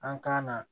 An k'an na